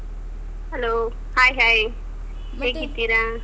Hello hai hai ಹೇಗಿದ್ದೀರಾ?.